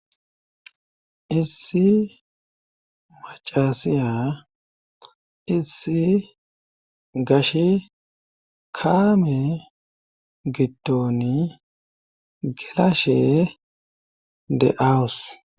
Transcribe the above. Issi macasiya issi gash kaame gidtoni gelashe de awus.